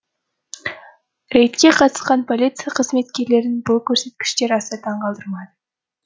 рейдке қатысқан полиция қызметкерлерін бұл көрсеткіштер аса таңғалдырмады